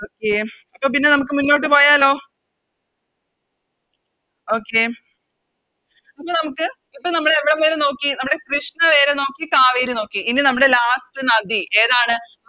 Okay അപ്പൊ പിന്നെ നമുക്ക് മുന്നോട്ട് പോയാലോ Okay അപ്പൊ നമുക്ക് ഇപ്പൊ നമ്മള് എവിടംവരെ നോക്കി നമ്മടെ കൃഷ്ണ വരെ നോക്കി കാവേരി നോക്കി ഇനി നമ്മുടെ Last നദി ഏതാണ്